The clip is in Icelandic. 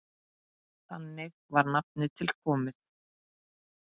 Þannig var nafnið til komið.